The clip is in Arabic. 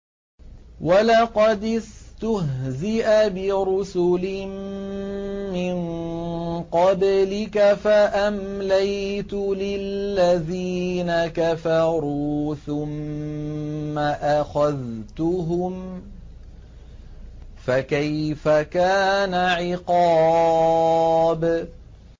وَلَقَدِ اسْتُهْزِئَ بِرُسُلٍ مِّن قَبْلِكَ فَأَمْلَيْتُ لِلَّذِينَ كَفَرُوا ثُمَّ أَخَذْتُهُمْ ۖ فَكَيْفَ كَانَ عِقَابِ